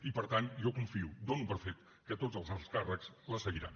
i per tant jo confio dono per fet que tots els alts càrrecs la seguiran